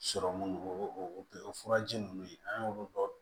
Sɔrɔmu o o o furaji ninnu an y'olu bɔ